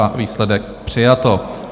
A výsledek: přijato.